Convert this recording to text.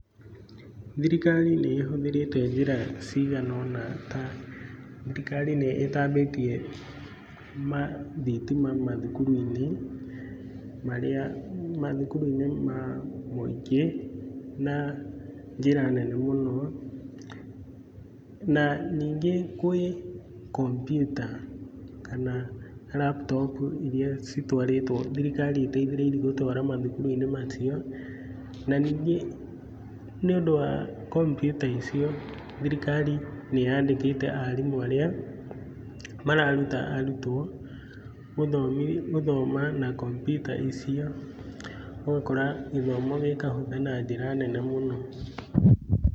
Thirikari nĩ ĩhũthĩrĩte njĩra ciganona ta; thirikari nĩ ĩtambĩtie thitima mathukuruinĩ marĩa, mathukuruinĩ ma mũingĩ na njĩra nene mũno. Na ningĩ gwĩ kompiuta kana raptopu iria citwarĩtwo, thirikari ĩteithi'rĩirie gũtwara mathukuruinĩ macio. Na nĩngĩ nĩ undũ wa kompIuta icio, thirikari nĩ yandĩkĩte arimu arĩa mararuta arũtuo gũthoma na kompIuta icio, ũgakora gĩthomo gĩkahũtha na njĩra nene mũno.